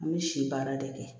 An bɛ si baara de kɛ